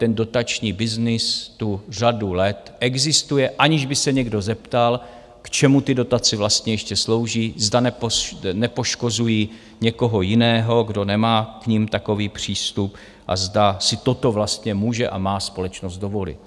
Ten dotační byznys tu řadu let existuje, aniž by se někdo zeptal, k čemu ty dotace vlastně ještě slouží, zda nepoškozují někoho jiného, kdo nemá k nim takový přístup a zda si toto vlastně může a má společnost dovolit.